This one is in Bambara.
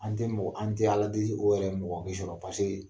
An tɛ mɔgɔ an tɛ Ala deeli o yɛrɛ k'e sɔrɔ paseke